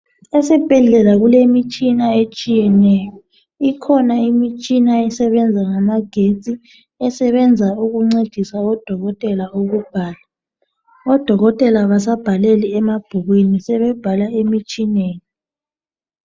Esibhedlela kulemitshina etshiyeneyo. Kukhona imitshina esebenza ngamagetsi esebenza ukuncedisa udokotela ukubhala. Odokotela abasabhaleli emabhukwini sebebhala emitshineni.